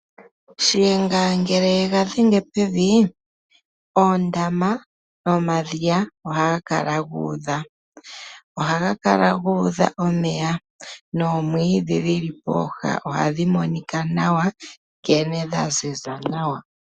Shiyenga ngele yega dhenge pevi, oondama, omadhiya, ohaga kala gu udha. Ohaga Kala gu udha omeya, noomwiidhi dhili pooha ohadhi monika nawa, nkene dhaziza nawa.